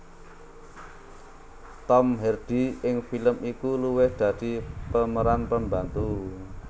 Tom Hardy ing film iku luwih dadi pemeran pembantu